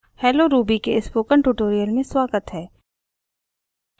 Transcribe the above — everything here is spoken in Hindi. hello ruby के स्पोकन ट्यूटोरियल में स्वागत है